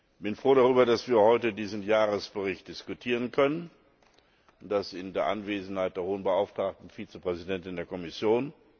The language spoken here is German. Ich bin froh darüber, dass wir heute diesen Jahresbericht diskutieren können, und das in Anwesenheit der Hohen Beauftragten Vizepräsidentin der Kommission.